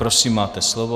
Prosím máte slovo.